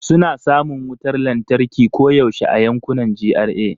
Suna samun wutar lantarki koyaushe a yankunan GRA.